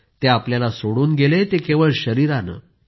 ते आपल्याला सोडून गेले ते केवळ शरीरानं